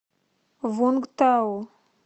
вунгтау